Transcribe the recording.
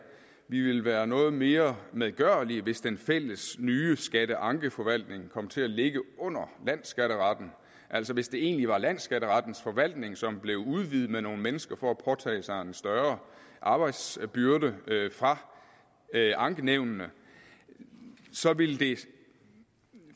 vi ville være noget mere medgørlige hvis den fælles nye skatteankeforvaltning kom til at ligge under landsskatteretten altså hvis det egentlig var landsskatterettens forvaltning som blev udvidet med nogle mennesker for at påtage sig en større arbejdsbyrde fra ankenævnene så ville det